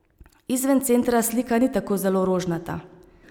Izven centra slika ni tako zelo rožnata.